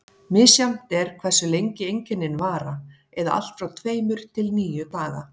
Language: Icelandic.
Misjafnt er hversu lengi einkennin vara, eða allt frá tveimur til níu daga.